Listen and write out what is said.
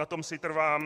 Na tom si trvám.